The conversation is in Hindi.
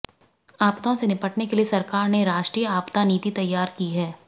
आपदाओं से निपटने के लिए सरकार ने राष्ट्रीय आपदा नीति तैयार की है